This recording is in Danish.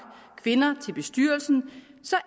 kvinder til bestyrelsen